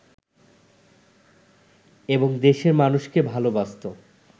এবং দেশের মানুষকে ভালবাসত